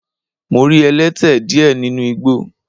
Mo rí ẹlẹ́tẹ díẹ̀ nínu igbó.